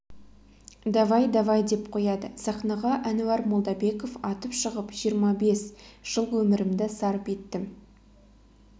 давай давай деп қояды сахнаға әнуар молдабеков атып шығып жиырма бес жыл өмірімді сарп еттім